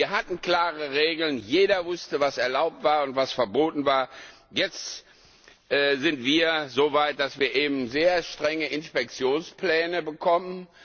Wir hatten klare Regeln Jeder wusste, was erlaubt war und was verboten war. Jetzt sind wir so weit, dass wir eben sehr strenge Inspektionspläne bekommen.